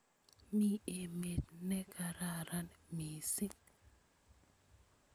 Mi emet nekararan mising